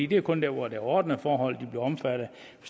det er kun der hvor der er ordnede forhold man bliver omfattet af